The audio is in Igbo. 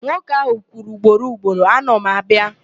Nwoke ahụ kwuru ugboro ugboro, "ana m abịa".